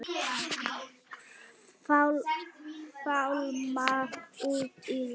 Fálma út í loftið.